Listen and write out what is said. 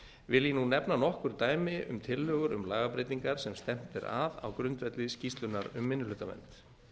vil ég nú nefna nokkur dæmi um tillögur um lagabreytingar sem stefnt er að á grundvelli skýrslunnar um minnihlutavernd